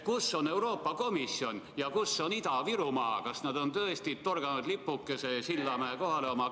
Kus on Euroopa Komisjon ja kus on Ida-Virumaa, kas nad on tõesti torganud oma kaardile lipukese Sillamäe kohale?